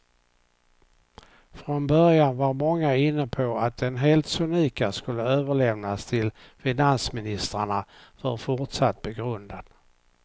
Från början var många inne på att den helt sonika skulle överlämnas till finansministrarna för fortsatt begrundan.